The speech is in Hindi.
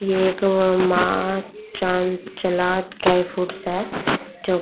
ये वो एक मा चानचाला ड्राई फ्रूट्स है जो --